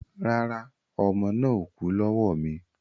Rárá, ọmọ náà ò kú lọ́wọ́ mi